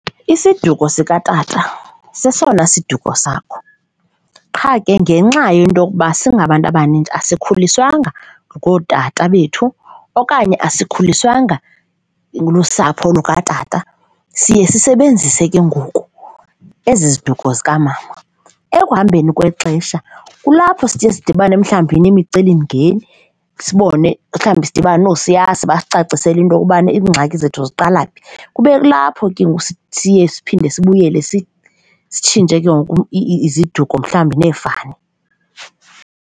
Isiduko sikatata sesona sisiduko sakho qha ke ngenxa yento yokuba singabantu abanintsi asikhuliswanga ngootata bethu okanye asikhuliswanga lusapho lukatata siye sisebenzise ke ngoku ezi ziduko zikamama. Ekuhambeni kwexesha kulapho siye sidibane mhlawumbi nemicelimngeni sibone mhlawumbi, sidibane noosiyazi basicacisele into yokubana iingxaki zethu ziqala phi, kube kulapho ke ngoku siye siphinde sibuyele sitshintshe ke ngoku iziduko mhlawumbi neefani.